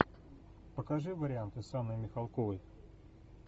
покажи варианты с анной михалковой